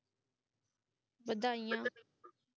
ਵਧਾਈਆਂ